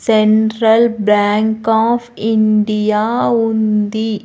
Central bank of India ఉంది.